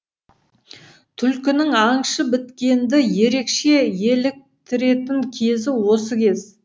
түлкінің аңшы біткенді ерекше еліктіретін кезі осы кез